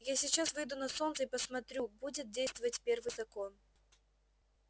я сейчас выйду на солнце и посмотрю будет действовать первый закон